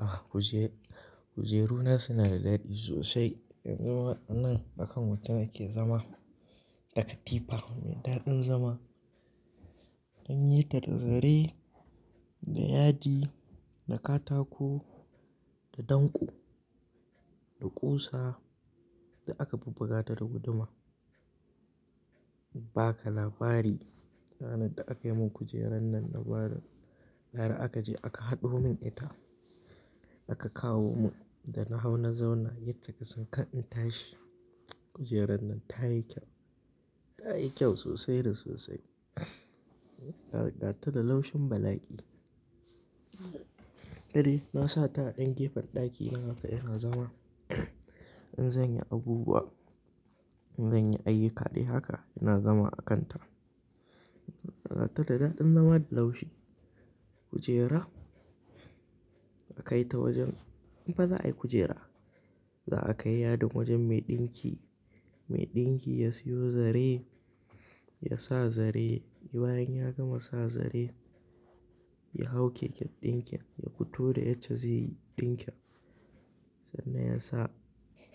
Ah, kujeru-kujeru na suna da daɗi sosai. Yanzu ma anan bakan wuta ne ke zama da katifa mai daɗin zama. An yi ta da zare, da yadi, da katako, da danko, da ƙusa da aka bubbuga ta da guduma. Ba ka labari ranar da aka yi mun kujeran nan na bada, bara aka je aka haɗu mun ita aka kawo mun da na hau na zauna. Yace ka san ka in tashi, kujeran nan ta yi kyau, ta yi kyau sosai da sosai. Ta ruga ta da laushin bala'i na sa ta a ɗan gefen ɗaki, haka yana zama. In zan yi abubuwa, in zan yi ayyuka dai haka yana zama a kan ta. Raga ta da daɗin zama da laushi. Kujera aka kai ta wajen, in baza a yi kujera za a kai yadin wajen mai ɗinki. Mai ɗinki ya siyo zare, ya sa zare. Bayan ya gama sa zare ya hau keken ɗinkin ya fito da yace zai yi ɗinkin. Sannan ya sa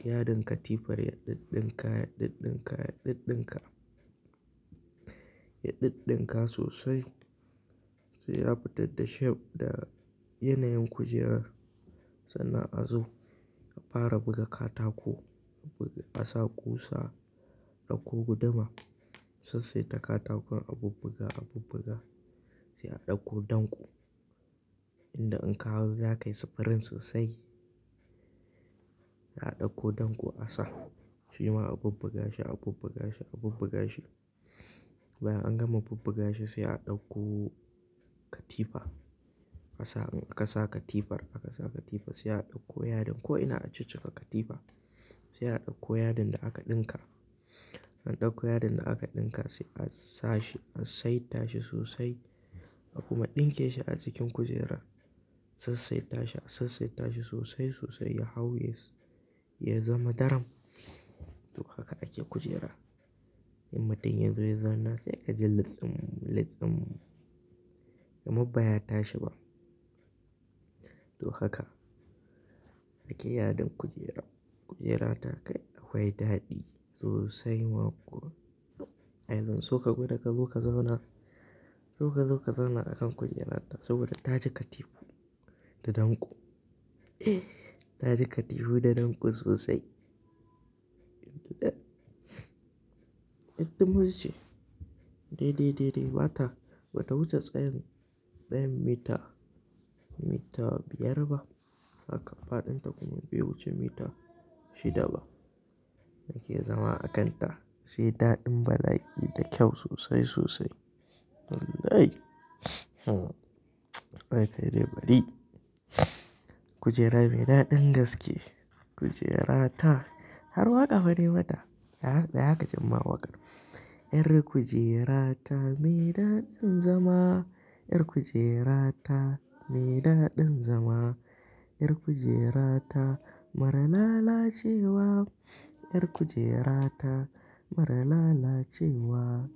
yadin katifar ya ɗiɗɗinka, ya ɗiɗɗinka, ya ɗiɗɗinka. Ya ɗiɗɗinka sosai sai ya fitar da shape da yanayin kujerar. Sannan a zo a fara buga katako, a buga, ka sa ƙusa, a ɗauko guduma sosai da katakon a bubbuga, a bubbuga. Sai a ɗauko danko, inda in ka hau zaka yi spring sosai. A ɗauko danko a sa, shima a bubbuga shi, a bubbuga shi, a bubbuga shi. Bayan an gama bubbuga shi sai a ɗauko katifa. A sa, an kasaka tifar aka sa katifa sai a ɗauko yadin ko'ina a ceciƙa katifa. Sai a ɗauko yadin da aka ɗinka. An ɗauko yadin da aka ɗinka sai a sa shi, a saita shi sosai. A kuma ɗinke shi a cikin kujera. Sai sai tashi, a sassaita shi sosai sosai ya hau, ya zama daram. To haka ake kujera. In mutun yanzu ya zauna sai ka ji latɗin, latɗin. Guma ba ya tashi ba. To haka ake yadin kujera. Kujera ta kai akwai daɗi sosai ma kuwa. Ai zan so ka gwada ka zo ka zauna, zo ka zo ka zauna a kan kujerata saboda ta ji katifu da danko. Ta ji katifu da danko sosai. Ɗan. Ɗin ɗan kuma sumul ce, "Daidai, daidai ba ta, bata wuce tsayin, tsayin mita, mita biyar ba. Haka faɗin ta kuma bai wuce mita shida ba." Da ke zama a kan ta sai daɗin bala'i da kyau sosai sosai. Wai, hmm, kawai ka dai bari. Kujera me daɗin gaske. Kujera ta har waƙa fa nai mata. Tsaya kaji in ma waƙar. Yar kujera ta me daɗin zama. Yar kujera ta me daɗin zama. Yar kujera ta mara lalacewa. Yar kujera ta mara lalacewa.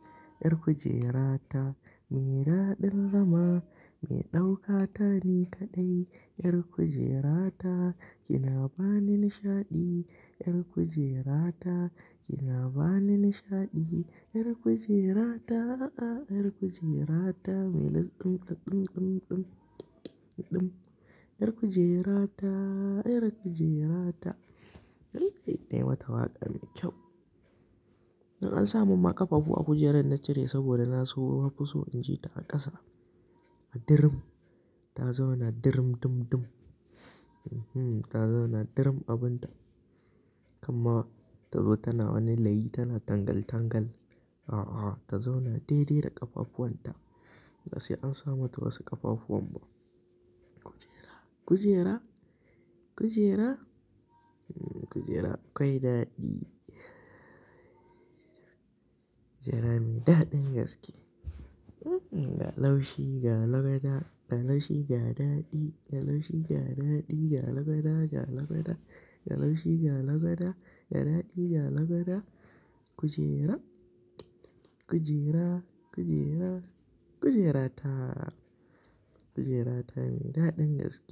Yar kujera ta me daɗin zama. Me ɗauka ta ni kaɗai. Yar kujera ta kina bani nishaɗi. Yar kujera ta kina bani nishaɗi. Yar kujera ta, ah, ah, yar kujera ta mai latɗin, latɗin, latɗin, latɗin. Yar kujera ta, yar kujera ta. Wai dai naimata waƙa mai kyau. An sa mun ma ƙafafu a kujerar na cire saboda na so in fi so in ji ta a ƙasa. A dirim, ta zauna dirim dum dum. Mhm, ta zauna dirim abin ta. Kamma ta zo tana wani layi tana tangal tangal. A, a, ta zauna daidai da ƙafafuwan ta. Basai an sa mata wasu ƙafafuwan ba. Kujera, kujera, kujera, kujera kwai daɗi. Kujera me daɗin gaske. Ga laushi, ga labada. Ga laushi, ga daɗi. Ga laushi, ga daɗi. Ga lagwada, ga lagwada. Ga laushi, ga labada. Ga daɗi, ga labada. Kujera, kujera, kujera, kujera ta. Kujera ta me daɗin gaske.